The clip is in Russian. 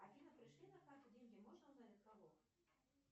афина пришли на карту деньги можно узнать от кого